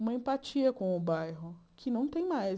uma empatia com o bairro, que não tem mais.